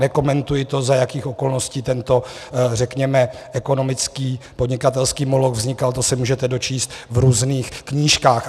Nekomentuji to, za jakých okolností tento řekněme ekonomický podnikatelský moloch vznikal, to se můžete dočíst v různých knížkách.